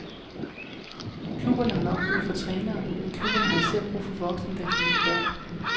Klubberne har nok brug for trænere, men klubberne har især brug for voksne, der kan lide børn.